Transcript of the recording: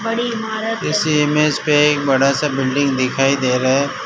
इस इमेज पे एक बड़ासा बिल्डिंग दिखाई दे रहा है।